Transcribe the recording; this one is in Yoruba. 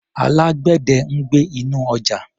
Alágbẹ̀dẹ̀ ń gbẹ́ inú ọjà.